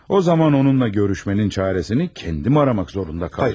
O zaman onunla görüşməyin çarəsini özüm axtarmaq məcburiyyətində qalacağam.